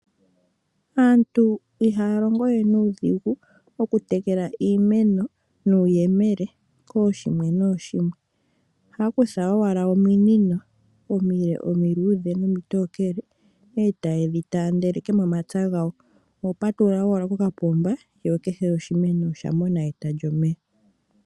Aantu ihaya longo we nuudhigu okutekela iimeno nuuyemele kooshimwe nooshimwe. Ohaya kutha owala ominino omile omiluudhe nomitookele e taye dhi taandeleke momapya gawo. Oho patulula owala kokapomba sho kehe oshimeno osha mona eta lyomeya.